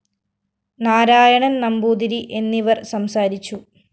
നാരായണന്‍ നമ്പൂതിരി എന്നിവര്‍ സംസാരിച്ചു